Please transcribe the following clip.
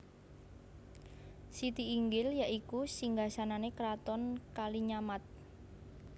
Siti Inggil ya iku Singgasanane Kraton Kalinyamat